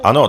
Ano.